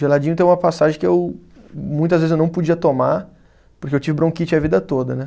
Geladinho tem uma passagem que eu muitas vezes eu não podia tomar, porque eu tive bronquite a vida toda, né?